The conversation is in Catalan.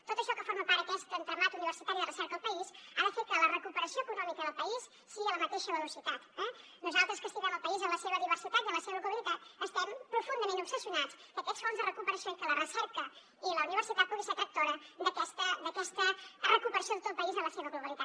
tot això que forma part d’aquest entramat universitari de recerca al país ha de fer que la recuperació econòmica del país sigui a la mateixa velocitat eh nosaltres que estimem el país en la seva diversitat i en la seva globalitat estem profundament obsessionats que aquests fons de recuperació i que la recerca i la universitat puguin ser tractors d’aquesta recuperació de tot país en la seva globalitat